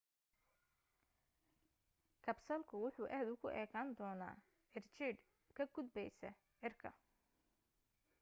kabsalku wuxu aad ugu ekaan doonaa cirjiidh ka gudbaysa cirka